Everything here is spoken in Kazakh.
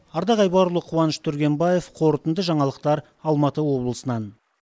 ардақ айбарұлы қуаныш түргенбаев қорытынды жаңалықтар алматы облысынан